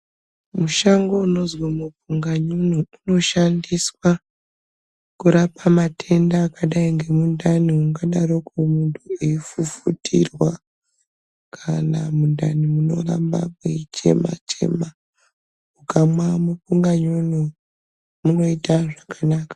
Mushango unozi mukunganyunu unoshandiswa kurapa matenda akadai ngemundani ungadaroko muntu eifufutirwa kana mundani mworamba mweichema chema . Ukamwa mukunganyunu munoita zvakanaka.